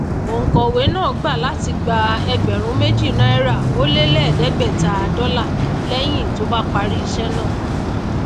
ònkòwé náà gbà láti gba ẹgbèrún méjì náírà ó lé èédégbètá dólà léyìn tí ó bá parí ísé náà